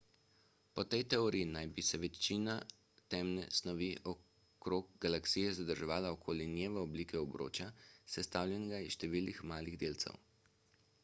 po tej teoriji naj bi se večina temne snovi okrog galaksije zadrževala okoli nje v obliki obroča sestavljenega iz številnih malih delcev